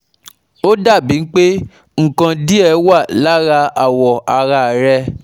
ó dà bíi pé nǹkan díẹ̀ wà lára awọ ara rẹ̀